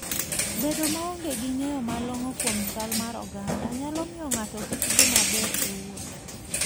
Bedo maonge gi ng'eyo malong'o kuom chal mar oganda, nyalo miyo ng'ato kik dhi maber e wuoth.